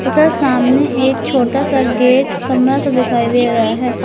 उधर सामने एक छोटा सा गेट कमरा सा दिखाई दे रहा है।